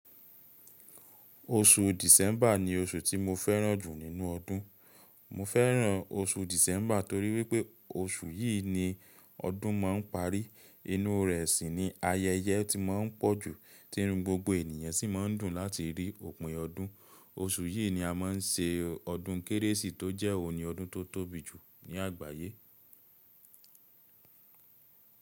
Oṣù December ni oṣù tí mo fẹ́ràn jù nínú ọdún. Mo fẹ́ràn oṣù December torí wípé oṣù yìí ni ọdún ma ń parí. Inú rẹ̀ sì ni ayẹyẹ ti ma ń pọ̀jù, tí irun gbogbo ènìyàn sì ma ń dùn láti rí òpin ọdún. Oṣù yìí ni a ma ń se ọdún Kérésìmesì tó jẹ́ òní ọdún tó tóbi jù ní àgbáyé.